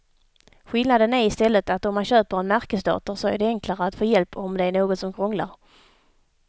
Skillnaden är i stället att om man köper en märkesdator så är det enklare att få hjälp om det är något som krånglar.